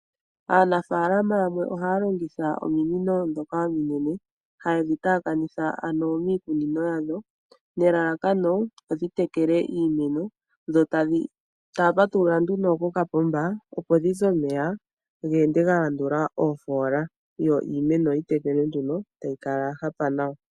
Aanafalama yamwe ohaya longitha ominino ndhoka ominene haye dhi taakanitha ano miikunino yawo nelalakano opo dhitekele iimeno, etaya patulula nduno kokapomba opo dhize omeya ga ende galandula oofoola yo iimeno yitekelwe nduno etayikala ya hapa nawa.